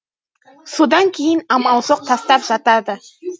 содан кейін амал жоқ тастап жатады